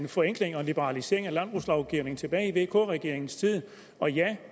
en forenkling og en liberalisering af landbrugslovgivningen tilbage i vk regeringens tid